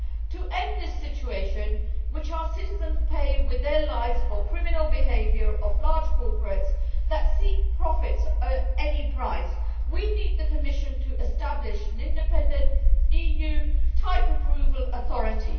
To end this situation, in which our citizens are paying with their lives for the criminal behaviour of large corporates that seek profits at any price, we need the Commission to establish an independent EU type approval authority.